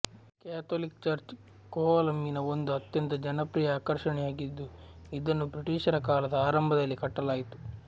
Catholic church ಕೋವಲಮ್ಮಿನ ಒಂದು ಅತ್ಯಂತ ಜನಪ್ರಿಯ ಆಕರ್ಷಣೆಯಾಗಿದ್ದು ಇದನ್ನು ಬ್ರಿಟಿಷರಕಾಲದ ಆರಂಭದಲ್ಲಿ ಕಟ್ಟಲಾಯಿತು